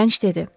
Gənc dedi.